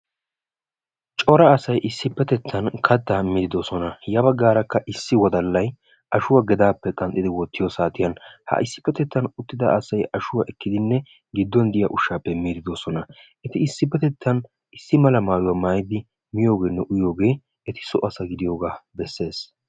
Cora asay issippetettan kattaa miiddi doosona. Ya baggaarakka issi wodallay ashuwa gedaappe qanxxidi wottiyo saatiyan ha issippetettan uttida asay ashuwa ekkidinne giddon diya ushshaappe miiddi doosona. Eti issippetettan issi mala maayuwa maayidi miyogeenne uyiyoogee eti so asa gidiyogaa bessees.